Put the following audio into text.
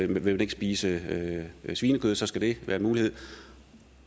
vil spise svinekød så skal det være en mulighed